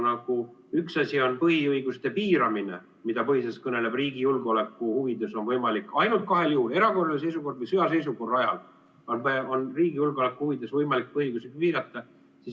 Näiteks põhiõiguste piiramine, mille kohta põhiseadus kõneleb, et riigi julgeoleku huvides on võimalik ainult kahel juhul – erakorralise seisukorra või sõjaseisukorra ajal – riigi julgeoleku huvides põhiõigusi piirata.